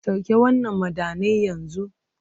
Sauke wannan madannai yanzu!